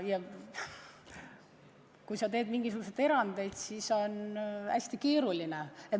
Kui sa teed mingeid erandeid, siis see on hästi keeruline.